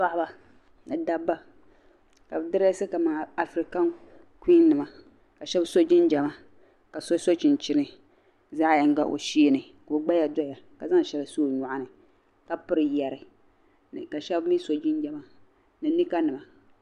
Paɣba. ni dab ba kabi dreesi kaman. afirikan kuin nima ka shab so jinjama kaso, so. chinchini zaɣ' yiŋa o sheeni ka ogbaya doya. kazaŋ shɛli n-so ɔ nyɔɣni. ka piri yari ka shebmi so jinjama. ni nima nima